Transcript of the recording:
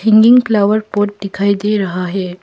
Hanging flower pot दिखाई दे रहा है।